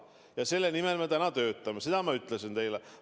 Ja selle nimel me täna töötame, seda ma ütlesin teile.